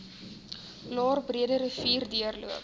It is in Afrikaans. laer breederivier deurlopend